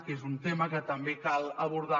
que és un tema que també cal abordar